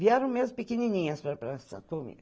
Vieram mesmo pequenininhas para para Santos comigo.